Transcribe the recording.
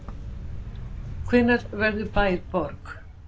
Hvenær verður bær að borg?